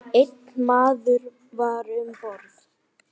Einn maður var um borð.